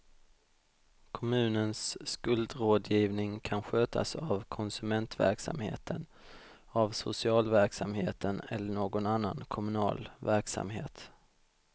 Kommunens skuldrådgivning kan skötas av konsumentverksamheten, av socialverksamheten eller någon annan kommunal verksamhet.